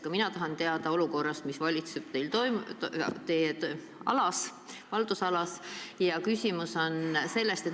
Ka mina tahan küsida olukorra kohta, mis valitseb teie haldusalas.